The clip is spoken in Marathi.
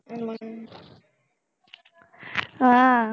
हम्म हा